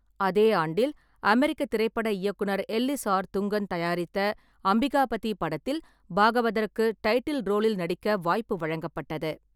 அதே ஆண்டில், அமெரிக்க திரைப்பட இயக்குனர் எல்லிஸ் ஆர். துங்கன் தயாரித்த அம்பிகாபதி படத்தில் பாகவதருக்கு டைட்டில் ரோலில் நடிக்க வாய்ப்பு வழங்கப்பட்டது.